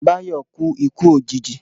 Báyọ̀ kú ikú òjìji